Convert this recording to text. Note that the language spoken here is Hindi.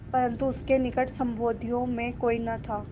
परन्तु उसके निकट संबंधियों में कोई न था